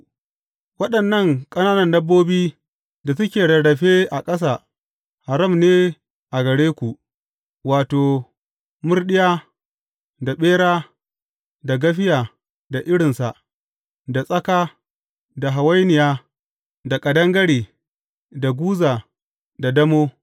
Waɗannan ƙananan dabbobi da suke rarrafe a ƙasa, haram ne a gare ku, wato, murɗiya, da ɓera, da gafiya da irinsa, da tsaka, da hawainiya, da ƙadangare, da guza, da damo.